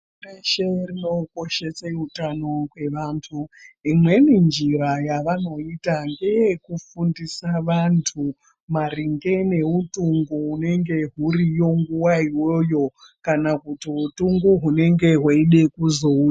Pashi reshe rinokoshesa utano hwevantu .Imweni njira yavanoita ngeyekufundisa vantu maringe neutungu unenge uriyo nguwa iyoyo kana kuti utungu uchada kuzouya.